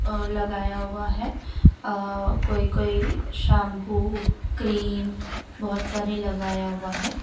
और लगाया हुआ है आ कोई कोई शैंपू क्रीम बहोत सारे लगाया हुआ है।